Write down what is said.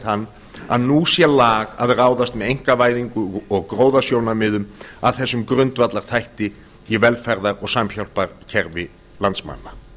þann að nú sé lag að ráðast með einkavæðingu og gróðasjónarmiðum að þessum grundvallarþætti í velferðar og samhjálparkerfi landsmanna